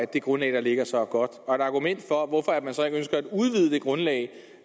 det grundlag der ligger så er godt og et argument for hvorfor man så ikke ønsker at udvide det grundlag